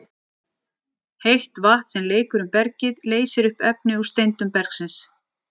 Heitt vatn sem leikur um bergið leysir upp efni úr steindum bergsins.